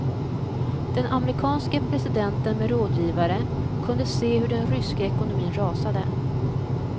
Den amerikanske presidenten med rådgivare kunde se hur den ryska ekonomin rasade.